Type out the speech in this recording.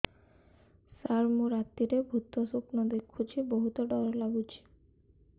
ସାର ମୁ ରାତିରେ ଭୁତ ସ୍ୱପ୍ନ ଦେଖୁଚି ବହୁତ ଡର ଲାଗୁଚି